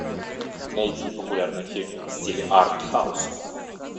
найди популярные фильмы в стиле артхаус